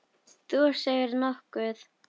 Þú segir nokkuð!